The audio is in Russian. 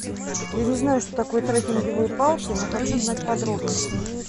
я не знаю что такое трекинговые палки но хочу знать подробности